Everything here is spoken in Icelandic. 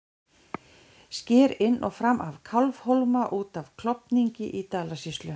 Sker inn og fram af Kálfhólma út af Klofningi í Dalasýslu.